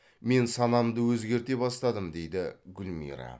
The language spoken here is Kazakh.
мен санамды өзгерте бастадым дейді гүлмира